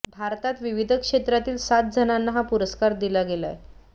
भारतात विविध क्षेत्रातील सात जणांना हा पुरस्कार दिला गेलाय